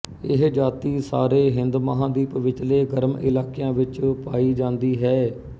ਇਹ ਜਾਤੀ ਸਾਰੇ ਹਿੰਦਮਹਾਂਦੀਪ ਵਿਚਲੇ ਗਰਮ ਇਲਾਕਿਆਂ ਵਿੱਚ ਪਾਈ ਜਾਂਦੀ ਹੈ